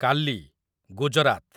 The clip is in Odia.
କାଲି , ଗୁଜରାତ